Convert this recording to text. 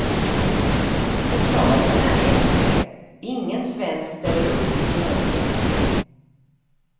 Förklaringen är enkel, ingen svensk ställer upp i tävlinge.